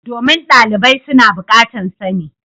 Domin dalibai su na bukatan sani.